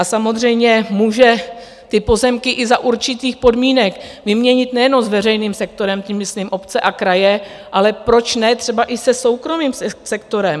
A samozřejmě může ty pozemky i za určitých podmínek vyměnit nejenom s veřejným sektorem, tím myslím obce a kraje, ale proč ne třeba i se soukromým sektorem?